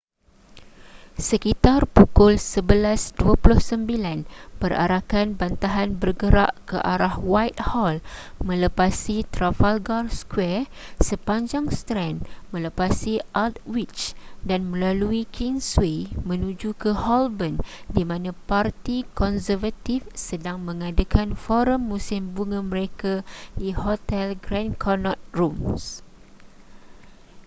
sekitar pukul 11:29 perarakan bantahan bergerak ke arah whitehall melepasi trafalgar square sepanjang strand melepasi aldwych dan melalui kingsway menuju ke holborn di mana parti konservatif sedang mengadakan forum musim bunga mereka di hotel grand connaught rooms